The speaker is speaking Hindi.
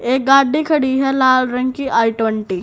एक गाड़ी खड़ी है लाल रंग की आई ट्वेंटी ।